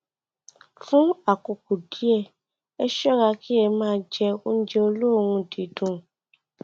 fún àkókò díẹ ẹ ṣọra kí ẹ má jẹ oúnjẹ olóòórùn dídùn